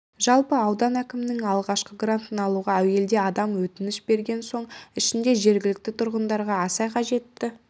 жалпы аудан әкімінің алғашқы грантын алуға әуелде адам өтініш берген соның ішінде жергілікті тұрғындарға аса қажетті